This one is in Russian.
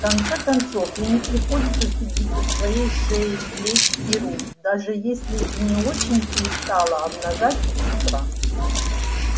в конце концов ей не приходится стыдиться своей шеи плеч и рук даже если и не очень пристало обнажать их с утра